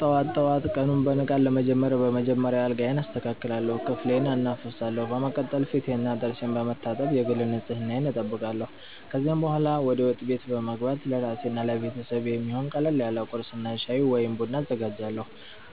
ጠዋት ጠዋት ቀኑን በንቃት ለመጀመር በመጀመሪያ አልጋዬን አስተካክላለሁ፣ ክፍሌንም አናፍሳለሁ። በመቀጠል ፊቴንና ጥርሴን በመታጠብ የግል ንጽህናዬን እጠብቃለሁ። ከዚያ በኋላ ወደ ወጥ ቤት በመግባት ለራሴና ለቤተሰቤ የሚሆን ቀለል ያለ ቁርስ እና ሻይ ወይም ቡና አዘጋጃለሁ።